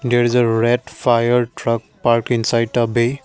there is a red fire truck park inside the way.